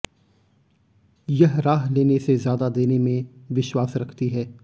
यह राह लेने से ज्यादा देने में विश्वास रखती है